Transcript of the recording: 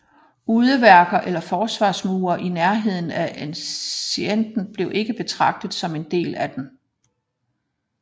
Udeværker eller forsvarmure i nærheden af enceinten blev ikke betragtet som en del af den